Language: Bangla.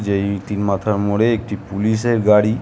যেই তিন মাথার মোড়ে একটি পুলিশ -এর গাড়ি ।